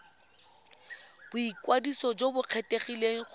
boikwadiso jo bo kgethegileng go